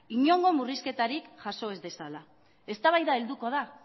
inongo murrizketarik jaso ez dezala eztabaida helduko da